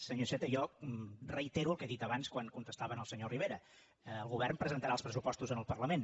senyor iceta jo reitero el que he dit abans quan contestava al senyor rivera el govern presentarà els pressupostos en el parlament